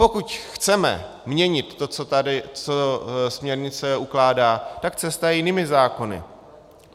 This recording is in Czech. Pokud chceme měnit to, co směrnice ukládá, tak cesta je jinými zákony.